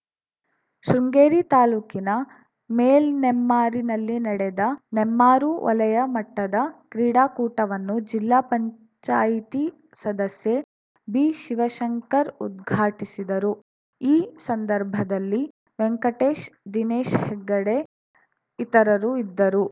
ಶೃಂಗೇರಿ ತಾಲೂಕಿನ ಮೇಲ್‌ನೆಮ್ಮಾರಿನಲ್ಲಿ ನಡೆದ ನೆಮ್ಮಾರು ವಲಯ ಮಟ್ಟದ ಕ್ರೀಡಾಕೂಟವನ್ನು ಜಿಲ್ಲಾ ಪಂಚಾಯಿತಿ ಸದಸ್ಯೆ ಬಿಶಿವಶಂಕರ್‌ ಉದ್ಘಾಟಿಸಿದರು ಈ ಸಂದರ್ಭದಲ್ಲಿ ವೆಂಕಟೇಶ್‌ದಿನೇಶ್‌ ಹೆಗ್ಡೆ ಇತರರು ಇದ್ದರು